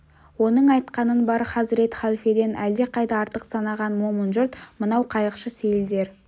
оның айтқанын бар хазірет халфеден әлдеқайда артық санаған момын жұрт мынау қайықшы сейілдер